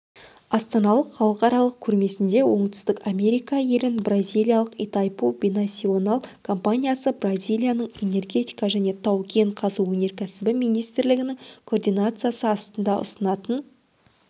астаналық халықаралық көрмесінде оңтүстік америка елін бразилиялық итайпу бинасионал компаниясы бразилияның энергетика және тау кең қазу өнеркәсібі министрлігінің координациясы астында ұсынатын